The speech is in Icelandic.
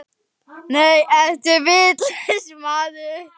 Nei, ertu vitlaus maður!